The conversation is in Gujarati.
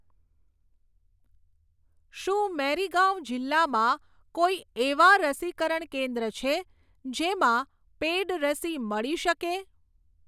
શું મેરીગાંવ જિલ્લામાં કોઈ એવાં રસીકરણ કેન્દ્ર છે જેમાં પેઈડ રસી મળી શકે?